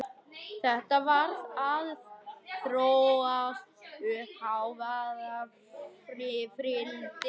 Þetta var að þróast uppí hávaðarifrildi.